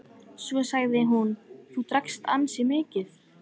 Svo sagði hún:-Þú drakkst ansi mikið.